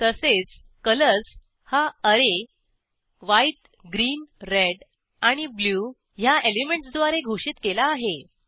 तसेच कलर्स हा array white green red आणि ब्लू ह्या एलिमेंटसद्वारे घोषित केला आहे